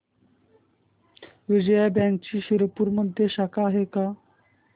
विजया बँकची शिरपूरमध्ये शाखा आहे का